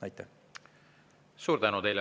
Suur tänu teile!